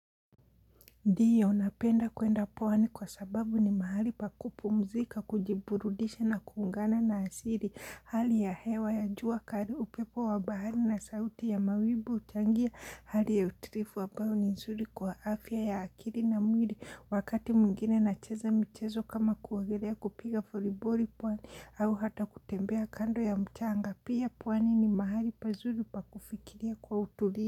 Ndiyo napenda kuenda pwani kwa sababu ni mahali pa kupumzika, kujiburudisha na kuungana na asili. Hali ya hewa ya jua kali upepo wa bahari na sauti ya mawimbi huchangia. Hali ya utulivu ambayo ni nzuri kwa afya ya akili na mwili. Wakati mwingine nacheza michezo kama kuogelea kupiga voliboli pwani au hata kutembea kando ya mchanga pia pwani ni mahali pazuri pa kufikiria kwa utulivu.